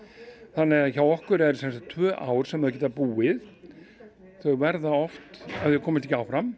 þannig að hjá okkur eru það sem sagt tvö ár þar sem þau geta búið en þau verða oft ef þau komast ekki áfram